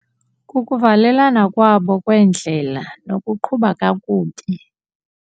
Kukuvalelana kwabo kwendlela nokuqhuba kakubi.